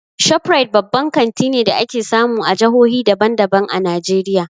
ShopRite babban kanti ne da ake samu a jahohi daban daban a Najeriya.